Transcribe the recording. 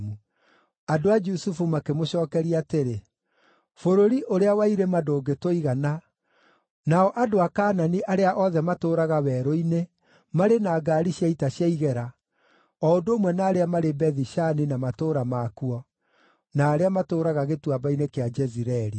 Andũ a Jusufu makĩmũcookeria atĩrĩ, “Bũrũri ũrĩa wa irima ndũngĩtũigana, nao andũ a Kaanani arĩa othe matũũraga werũ-inĩ marĩ na ngaari cia ita cia igera, o ũndũ ũmwe na arĩa marĩ Bethi-Shani na matũũra makuo, na arĩa matũũraga gĩtuamba-inĩ kĩa Jezireeli.”